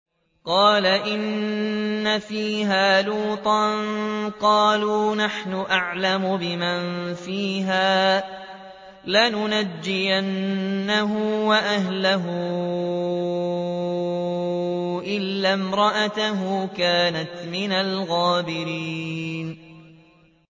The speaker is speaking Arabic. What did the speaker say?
قَالَ إِنَّ فِيهَا لُوطًا ۚ قَالُوا نَحْنُ أَعْلَمُ بِمَن فِيهَا ۖ لَنُنَجِّيَنَّهُ وَأَهْلَهُ إِلَّا امْرَأَتَهُ كَانَتْ مِنَ الْغَابِرِينَ